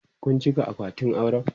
Kun cika akwatin auren?